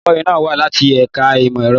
Olùkọ́ni náà wá láti ẹ̀ka ìmọ̀ ẹ̀rọ.